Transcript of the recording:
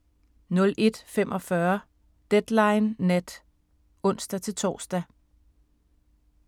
01:45: Deadline Nat (ons-tor)